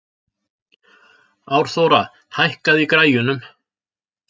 Árþóra, hækkaðu í græjunum.